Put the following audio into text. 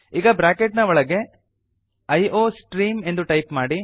ಈಗ ಬ್ರಾಕೆಟ್ ನ ಒಳಗೆ ಐಯೋಸ್ಟ್ರೀಮ್ ಎಂದು ಟೈಪ್ ಮಾಡಿ